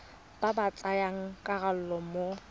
ba ba tsayang karolo mo